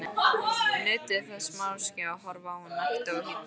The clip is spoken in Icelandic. Nutu þess máske að horfa á hana nakta og hýdda.